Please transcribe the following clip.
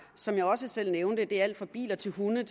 som jeg også selv nævnte er det alt fra biler til hunde og